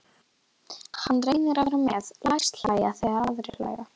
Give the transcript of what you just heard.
Hann reynir að vera með, læst hlæja þegar aðrir hlæja.